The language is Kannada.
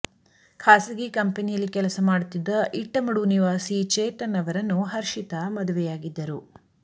ಖಾಸಗಿ ಕಂಪೆನಿಯಲ್ಲಿ ಕೆಲಸ ಮಾಡುತ್ತಿದ್ದ ಇಟ್ಟಮಡು ನಿವಾಸಿ ಚೇತನ್ ಅವರನ್ನು ಹರ್ಷಿತಾ ಮದುವೆಯಾಗಿದ್ದರು